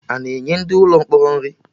Ana enye ndị mkpọrọ nri?